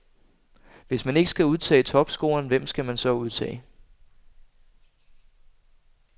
Hvis man ikke skal udtage topscoreren, hvem skal mon så udtage?